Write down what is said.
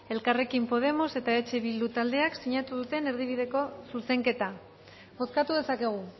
elkarrekin podemos eta eh bildu taldeak sinatu duten erdibideko zuzenketa bozkatu dezakegu